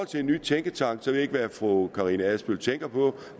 til en ny tænketank ved jeg ikke hvad fru karina adsbøl tænker på